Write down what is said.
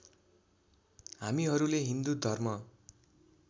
हामीहरुले हिन्दू धर्म